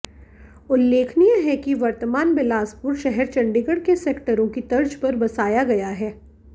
उल्लेखनीय है कि वर्तमान बिलासपुर शहर चंडीगढ़ के सेक्टरों की तर्ज पर बसाया गया है